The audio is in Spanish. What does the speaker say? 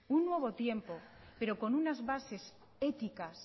un nuevo tiempo pero con unas bases éticas